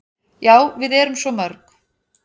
"""Já, við erum svo mörg."""